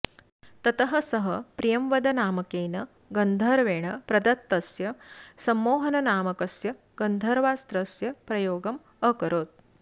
ततः सः प्रियंवदनामकेन गन्धर्वेण प्रदत्तस्य सम्मोहननामकस्य गन्धर्वास्त्रस्य प्रयोगम् अकरोत्